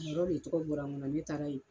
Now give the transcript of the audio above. A yɔrɔ de tɔgɔ bɔla n kɔnɔ ne taara yen.